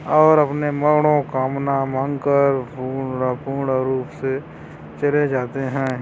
और अपने मनोकामना मांगकर पूर्ण- पूर्ण रूप से चले जाते है।